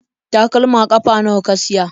Takalma ƙafa nawa ka siya?